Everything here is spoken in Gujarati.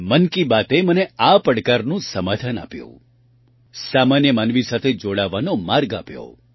મન કી બાતએ મને આ પડકારનું સમાધાન આપ્યું સામાન્ય માનવી સાથે જોડાવાનો માર્ગ આપ્યો